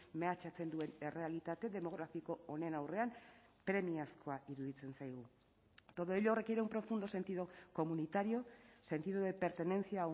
mehatxatzen duen errealitate demografiko honen aurrean premiazkoa iruditzen zaigu todo ello requiere un profundo sentido comunitario sentido de pertenencia a